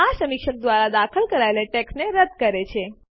આ સમીક્ષક દ્વારા દાખલ કરાયેલી ટેક્સ્ટને રદ્દ કરે છે